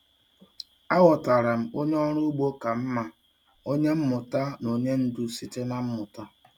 Aghọtara m onye ọrụ ugbo ka mma, onye mmụta na onye ndu site na mmụta.